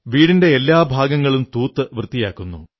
വീടിന്റെ എല്ലാ ഭാഗങ്ങളും തൂത്തു വൃത്തിയാക്കുന്നു